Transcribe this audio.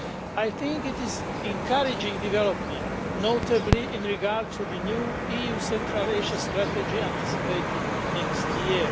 I think it is an encouraging development, notably in regard to the new EU Central Asia Strategy anticipated next year.